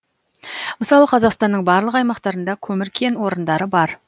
мысалы қазақстанның барлық аймақтарында көмір кен орындары бар